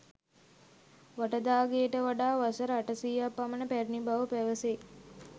වට දා ගෙයට වඩා වසර 800 ක් පමණ පැරැණි බව පැවැසෙයි.